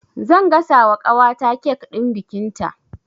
Zan gasa wa ƙawata kek ɗin bikinta